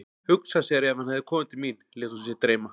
Hugsa sér ef hann hefði komið til mín, lét hún sig dreyma.